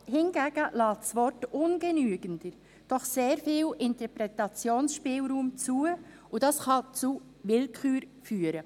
Hingegen lässt das Wort «ungenügender» doch sehr viel Interpretationsspielraum zu, und das kann zu Willkür führen.